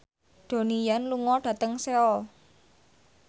Donnie Yan lunga dhateng Seoul